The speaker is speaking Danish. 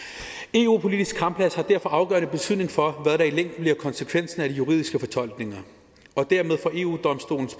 eu politiske kampplads har derfor afgørende betydning for hvad der i længden bliver konsekvensen af de juridiske fortolkninger og dermed får eu domstolen